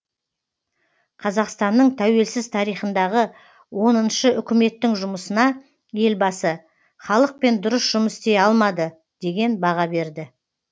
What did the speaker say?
қазақстанның тәуелсіз тарихындағы оныншы үкіметтің жұмысына елбасы халықпен дұрыс жұмыс істей алмады деген баға берді